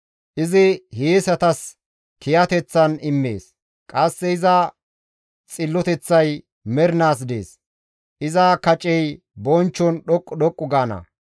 Izi hiyeesatas kiyateththan immees; qasse iza xilloteththay mernaas dees; iza kacey bonchchon dhoqqu dhoqqu gaana.